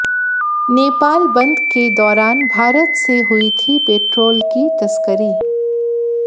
नेपाल बंद के दौरान भारत से हुई थी पेट्रोल की तस्करी